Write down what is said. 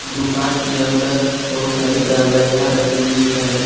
दुकान के अंदर बहुत सारी दवाइयां रखी हुई है।